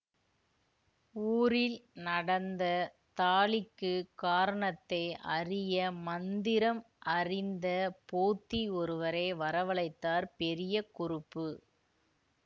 ஊரில் நடந்த தாளிக்குக் காரணத்தை அறிய மந்திரம் அறிந்த போத்தி ஒருவரை வரவழைத்தார் பெரிய குறுப்பு